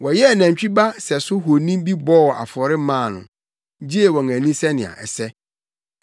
Wɔyɛɛ nantwi ba sɛso honi bi bɔɔ afɔre maa no, gyee wɔn ani sɛnea ɛsɛ.